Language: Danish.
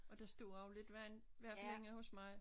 Og der stod også lidt vand i hvert fald inde hos mig